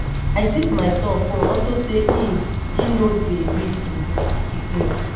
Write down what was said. I seize my son phone unto say e e no dey read im book again